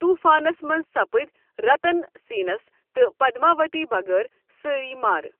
طوٗفانس منٛز سَپٕدۍ رَتن سیٚنس تہٕ پدماؤتی بَغٲر سٲری مارٕ